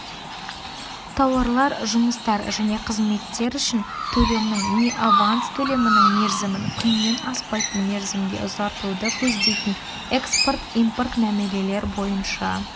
тауарлар жұмыстар және қызметтер үшін төлемнің не аванс төлемінің мерзімін күннен аспайтын мерзімге ұзартуды көздейтін экспорт-импорт мәмілелер бойынша